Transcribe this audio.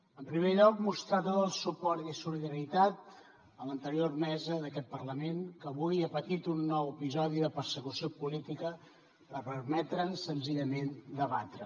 en primer lloc mostrar tot el suport i solidaritat a l’anterior mesa d’aquest parlament que avui ha patit un nou episodi de persecució política per permetre’ns senzillament debatre